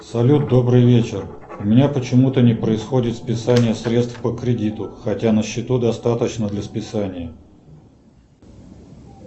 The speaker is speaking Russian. салют добрый вечер у меня почему то не происходит списание средств по кредиту хотя на счету достаточно для списания